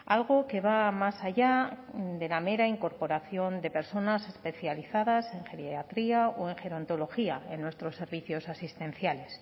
algo que va más allá de la mera incorporación de personas especializadas en geriatría o en gerontología en nuestros servicios asistenciales